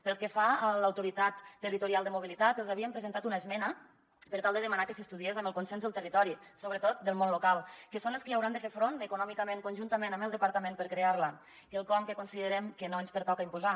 pel que fa a l’autoritat territorial de mobilitat els havíem presentat una esmena per tal de demanar que s’estudiés amb el consens del territori sobretot del món lo·cal que són els que hi hauran de fer front econòmicament conjuntament amb el de·partament per crear·la quelcom que considerem que no ens pertoca imposar